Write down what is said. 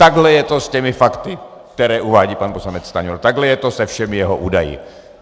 Takhle je to s těmi fakty, která uvádí pan poslanec Stanjura, takhle je to se všemi jeho údaji.